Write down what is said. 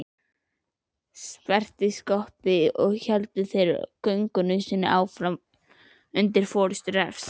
Sperrtist skottið héldu þeir göngunni áfram undir forystu Refs.